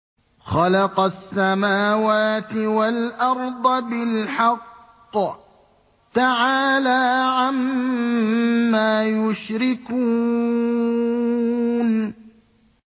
خَلَقَ السَّمَاوَاتِ وَالْأَرْضَ بِالْحَقِّ ۚ تَعَالَىٰ عَمَّا يُشْرِكُونَ